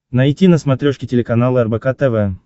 найти на смотрешке телеканал рбк тв